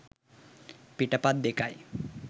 පිටපත් දෙකයි.